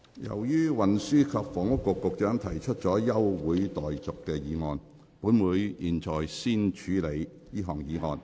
由於運輸及房屋局局長提出了休會待續議案，本會現在先處理這項議案。